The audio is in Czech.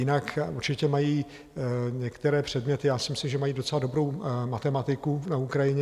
Jinak určitě mají některé předměty, já si myslím, že mají docela dobrou matematiku na Ukrajině.